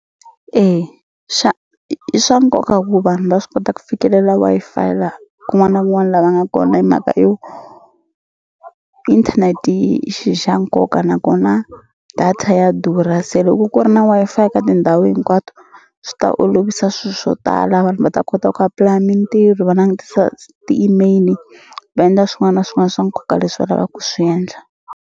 Ey i swa nkoka ku vanhu va swi kota ku fikelela Wi-Fi la kun'wana na kun'wani la va nga kona hi mhaka yo internet-i i xi xa nkoka nakona data ya durha se loko ku ri na Wi-Fi eka tindhawu hinkwato swi ta olovisa swi swo tala vanhu va ta kota ku apply-a mintirho va langutisa ti-email va endla swin'wana na swin'wana swa nkoka leswi va lava ku swi endla.